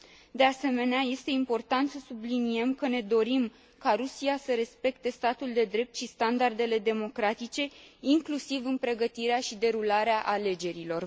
De asemenea, este important să subliniem că ne dorim ca Rusia să respecte statul de drept și standardele democratice, inclusiv în pregătirea și derularea alegerilor.